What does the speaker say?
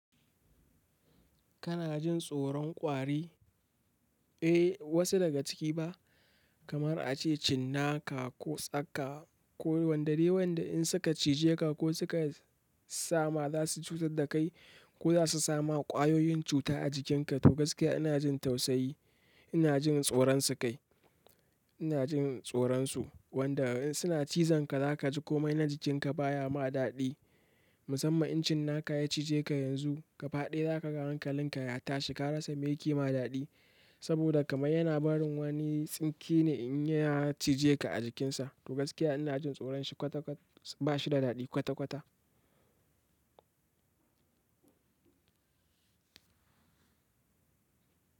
Kana jin tsoron ƙwari? Eh, wasu daga ciki ba, kamar a ce cinnaka ko tsaka, ko wanda dai wanda in suka cije ka ko suka sama za su cutar da kai ko za su sama ƙwayoyin cuta a jikinka. To gaskiya ina jin tausayi, ina jin tsoronsu kai, ina jin tsoronsu. Wanda in suna cizon ka zaka ji komai na jikinka baya ma daɗi. Musamman in cinnaka ya cije ka yanzu gaba ɗaya zaka ga ranka linka ya tashi ka rasa mai yake ma daɗi. Saboda kamar yana barin wani tsinke ne in ya cije ka a jikinsa. To gaskiya ina jin tsoron su kwata kwat bashida daɗi kwata kwata.